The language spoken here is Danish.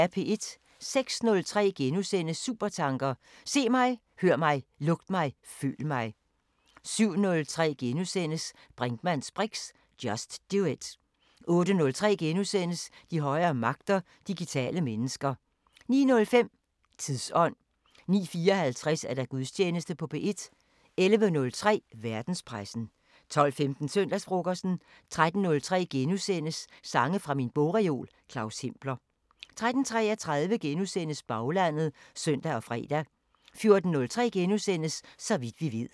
06:03: Supertanker: Se mig, hør mig, lugt mig, føl mig * 07:03: Brinkmanns briks: Just do it * 08:03: De højere magter: Digitale mennesker * 09:05: Tidsånd 09:54: Gudstjeneste på P1 11:03: Verdenspressen 12:15: Søndagsfrokosten 13:03: Sange fra min bogreol – Claus Hempler * 13:33: Baglandet *(søn og fre) 14:03: Så vidt vi ved *